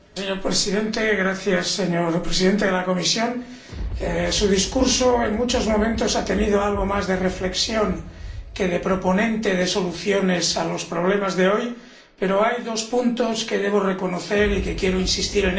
Señor Presidente, señor Presidente de la Comisión, su discurso, en muchos momentos, ha tenido algo más de reflexión que de proponente de soluciones a los problemas de hoy, pero hay dos puntos que debo reconocer y en los que quiero insistir.